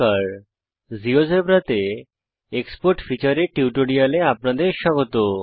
GeoGebra GeoGebra তে export feature export feature এর টিউটোরিয়ালে আপনাদের স্বাগত